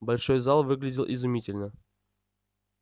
большой зал выглядел изумительно